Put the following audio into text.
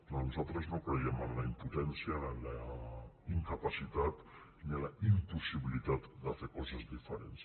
nosaltres no crèiem en la impotència en la incapacitat ni en la impossibilitat de fer coses diferents